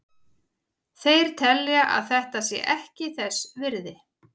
Þeir telja að þetta sé ekki þess virði.